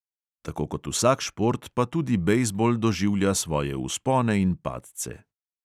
Tako kot vsak šport pa tudi bejzbol doživlja svoje vzpone in padce.